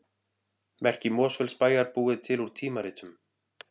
Merki Mosfellsbæjar búið til úr tímaritum